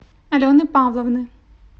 алены павловны